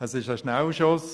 Das ist ein Schnellschuss.